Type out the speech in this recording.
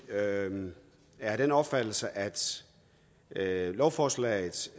er af den opfattelse at lovforslaget